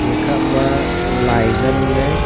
gakha ma lai ngan le.